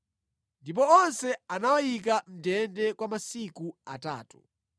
Ndipo onse anawayika mʼndende kwa masiku atatu.